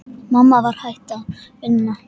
Mamma var hætt að vinna.